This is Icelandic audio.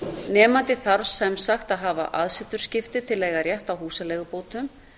nemandi þarf sem sagt að hafa aðsetursskipti til að eiga rétt á húsaleigubótum